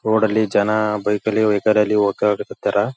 Road ಅಲ್ಲಿ ಜನ bike ಅಲ್ಲಿ ವೆಹಿಕಲ್‌ ಅಲ್ಲಿ ಓಡಾಡಕ್ ಹತ್ತಾರ .